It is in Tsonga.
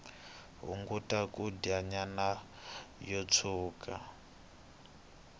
hunguta kudya nyama yo tshuka